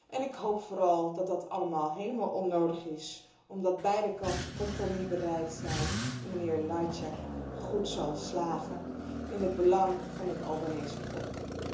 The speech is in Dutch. En ik hoop vooral dat dit alles helemaal onnodig is, omdat beide kanten compromisbereid zijn en mijnheer Lajčák goed zal slagen in het belang van het Albanese volk.